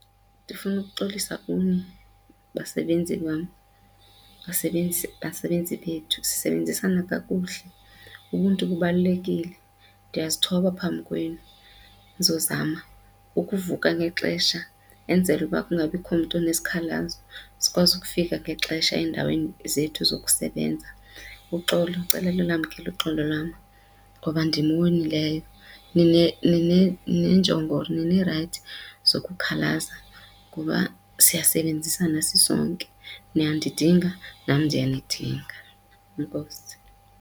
Ndifuna ukuxolisa kuni basebenzi bam, basebenzi basebenzi bethu sisebenzisana kakuhle ubuntu bubalulekile. Ndiyazithoba phambi kwenu ndizozama ukuvuka ngexesha enzele uba kungabikho mntu onesikhalazo sikwazi ukufika ngexesha endaweni zethu zokusebenza. Uxolo ndicela nilwamkele uxolo lwam ngoba ndim owonileyo neenjongo ninee-rights zokukhalaza ngoba siyasebenzisana sisonke niyandidinga nam ndiyanidinga. Enkosi.